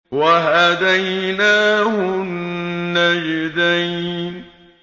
وَهَدَيْنَاهُ النَّجْدَيْنِ